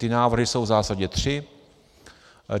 Ty návrhy jsou v zásadě tři.